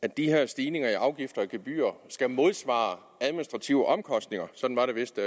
at de her stigninger i afgifter og gebyrer skal modsvare administrative omkostninger sådan var det vist